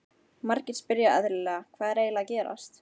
Margir spyrja eðlilega, Hvað er eiginlega að gerast?